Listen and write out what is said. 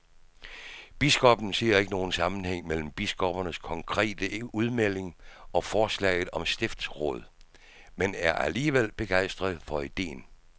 Biskoppen ser ikke nogen sammenhæng mellem biskoppernes konkrete udmelding og forslaget om stiftsråd, men er alligevel begejstret for ideen.